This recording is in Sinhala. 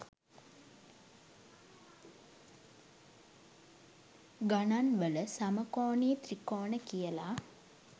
ගණන්වල සමකෝණී ත්‍රිකෝණ කියලා